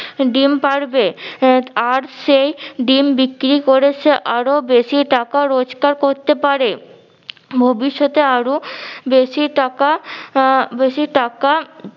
ডিম পারবে আহ আর সেই ডিম বিক্রি করে সে আরো বেশি টাকা রোজকার করতে পারে ভবিষ্যতে আরো বেশি টাকা আহ বেশি টাকা